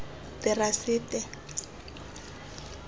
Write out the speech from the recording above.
terasete